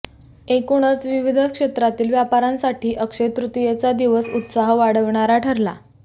एकूणच विविध क्षेत्रातील व्यापाऱ्यांसाठी अक्षयतृतीयेचा दिवस उत्साह वाढविणारा ठरला